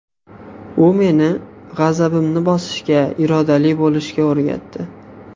U meni g‘azabimni bosishga, irodali bo‘lishga o‘rgatdi.